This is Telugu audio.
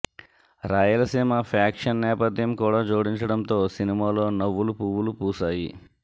రాయలసీమ ఫ్యాక్షన్ నేపథ్యం కూడా జోడించడంతో సినిమాలో నవ్వులు పువ్వులు పూసాయి